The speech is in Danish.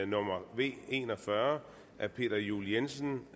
nummer v en og fyrre af peter juel jensen